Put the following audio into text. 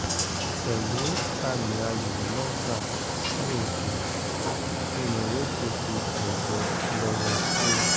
pẹ̀lú àmì ayò mẹ́ta sí odò ni morocco fi gbẹ̀yẹ lọ́wọ́ spain